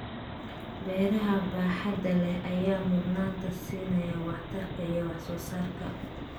Beeraha baaxadda leh ayaa mudnaanta siinaya waxtarka iyo wax soo saarka.